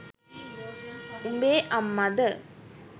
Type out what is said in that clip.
උබේ අම්මද?